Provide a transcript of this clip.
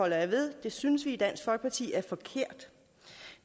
jeg ved det synes vi i dansk folkeparti er forkert